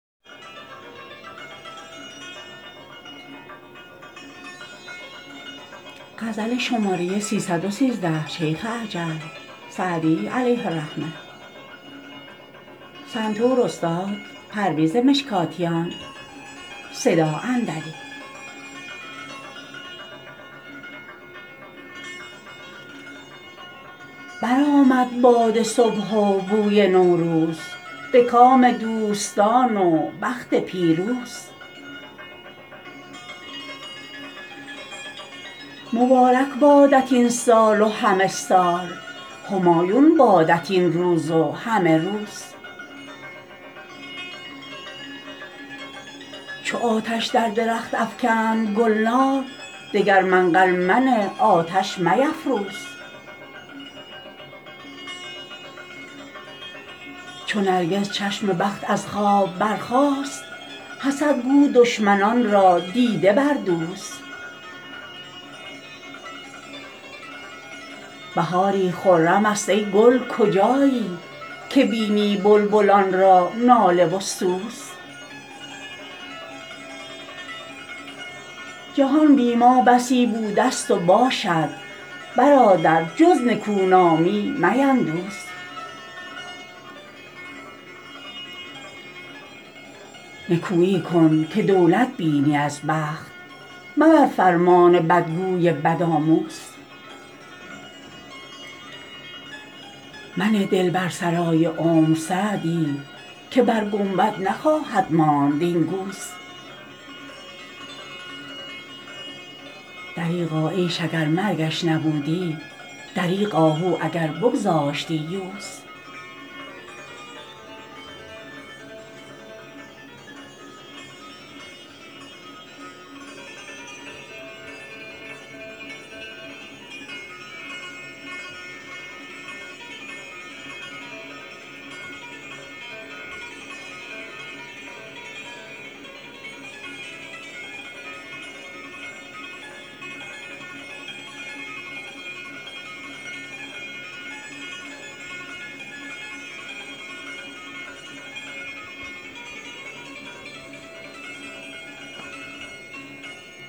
برآمد باد صبح و بوی نوروز به کام دوستان و بخت پیروز مبارک بادت این سال و همه سال همایون بادت این روز و همه روز چو آتش در درخت افکند گلنار دگر منقل منه آتش میفروز چو نرگس چشم بخت از خواب برخاست حسد گو دشمنان را دیده بردوز بهاری خرم است ای گل کجایی که بینی بلبلان را ناله و سوز جهان بی ما بسی بوده ست و باشد برادر جز نکونامی میندوز نکویی کن که دولت بینی از بخت مبر فرمان بدگوی بدآموز منه دل بر سرای عمر سعدی که بر گنبد نخواهد ماند این گوز دریغا عیش اگر مرگش نبودی دریغ آهو اگر بگذاشتی یوز